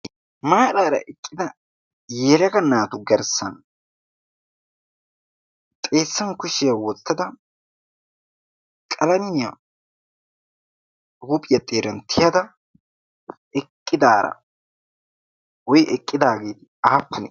maaraara eqqida yelaga naatu garssan xeessan kushiya wotada qalamiya tiyada eqqidaara woy eqqidaagee aapunee?